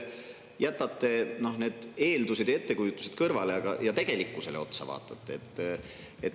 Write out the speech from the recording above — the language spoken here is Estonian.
Jätke need eeldused ja ettekujutused kõrvale ja vaadake tegelikkusele otsa.